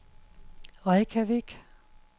Reykjavik